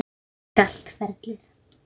Ég elska allt ferlið.